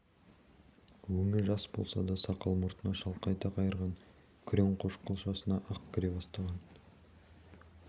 өңі жас болса да сақал-мұртына шалқайта қайырған күрең қошқыл шашына ақ кіре бастаған